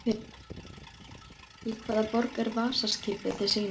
Í hvaða borg er Vasa-skipið til sýnis?